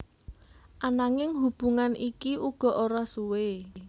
Ananging hubungan iki uga ora suwe